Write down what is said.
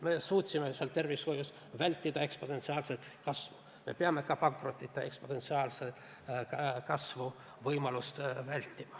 Me suutsime vältida tervishoius ekspansiivset haigestumise kasvu, aga me peame vältima ka pankrottide ekspansiivset kasvu.